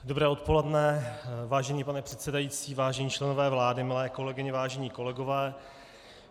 Dobré odpoledne, vážený pane předsedající, vážení členové vlády, milé kolegyně, vážení kolegové.